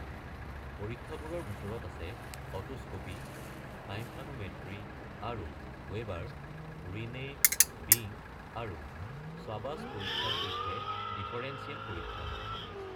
পৰীক্ষাবোৰৰ ভিতৰত আছে otoscopy, tympanometry, আৰু ৱেবাৰ, ৰিনে, বিং আৰু শ্বাবাচ পৰীক্ষাৰ সৈতে ডিফাৰেন্সিয়েল পৰীক্ষা।